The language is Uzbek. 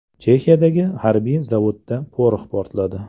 Chexiyadagi harbiy zavodda porox portladi.